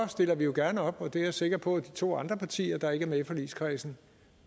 stiller vi jo gerne op og det er jeg sikker på at de to andre partier der ikke er med i forligskredsen